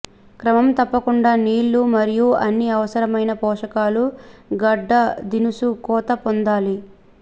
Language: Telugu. క్రమం తప్పకుండా నీళ్ళు మరియు అన్ని అవసరమైన పోషకాలు గడ్డ దినుసు కోత పొందాలి